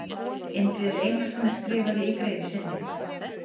Indriði Einarsson skrifaði í grein sinni: